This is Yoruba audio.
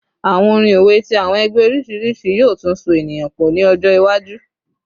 Awọn orin owe ti awọn ẹgbẹ oriṣiriṣi yoo tun so eniyan pọ ni ọjọ iwaju